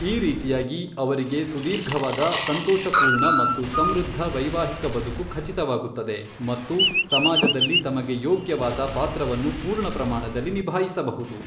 ಈ ರೀತಿಯಾಗಿ, ಅವರಿಗೆ ಸುದೀರ್ಘವಾದ, ಸಂತೋಷಪೂರ್ಣ ಮತ್ತು ಸಮೃದ್ಧ ವೈವಾಹಿಕ ಬದುಕು ಖಚಿತವಾಗುತ್ತದೆ ಮತ್ತು ಸಮಾಜದಲ್ಲಿ ತಮಗೆ ಯೋಗ್ಯವಾದ ಪಾತ್ರವನ್ನು ಪೂರ್ಣ ಪ್ರಮಾಣದಲ್ಲಿ ನಿಭಾಯಿಸಬಹುದು.